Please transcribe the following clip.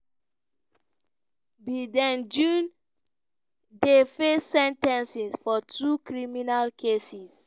biden jr dey face sen ten cing for two criminal cases.